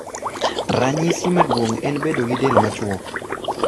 Ranyisi maduong' en bedo gi del machuok.